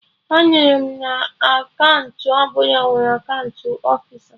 Anụrụ m na akaụntụ ọbụla nwere akaụntụ ofisa